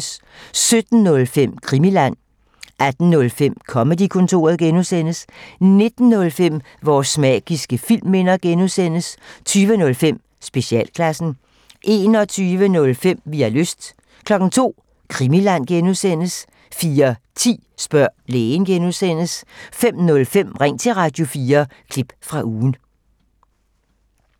17:05: Krimiland 18:05: Comedy-kontoret (G) 19:05: Vores magiske filmminder (G) 20:05: Specialklassen 21:05: Vi har lyst 02:00: Krimiland (G) 04:10: Spørg lægen (G) 05:05: Ring til Radio4 – klip fra ugen